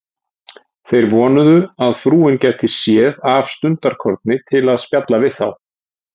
Þeir vonuðu, að frúin gæti séð af stundarkorni til að spjalla við þá.